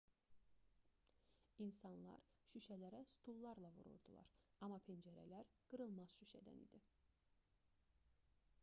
i̇nsanlar şüşələrə stullarla vururdular amma pəncərələr qırılmaz şüşədən idi